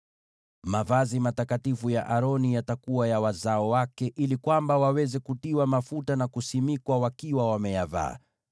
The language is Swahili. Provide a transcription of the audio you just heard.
“Mavazi matakatifu ya Aroni yatakuwa ya wazao wake ili kwamba waweze kutiwa mafuta na kuwekwa wakfu wakiwa wameyavaa.